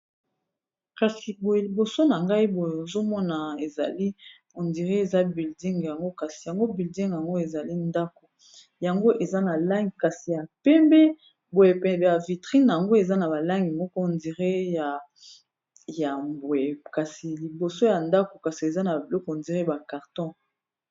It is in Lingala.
kasi boye liboso na ngai boye ozomona ezali ondiré eza bilding yango kasi yango bilding yango ezali ndako yango eza na lange kasi ya pembe boyepembe ya vitrine yango eza na balangi moko hondire ya yambwe kasi liboso ya ndako kasi eza na ba biloko ondire ba carton